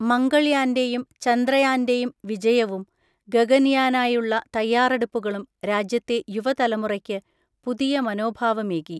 മംഗൾയാന്റെയും ചന്ദ്രയാന്റെയും വിജയവും ഗഗൻയാനായുള്ള തയ്യാറെടുപ്പുകളും രാജ്യത്തെ യുവതലമുറയ്ക്ക് പുതിയ മനോഭാവമേകി.